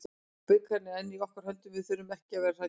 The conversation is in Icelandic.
Bikarinn er enn í okkar höndum, við þurfum ekki að vera hræddir.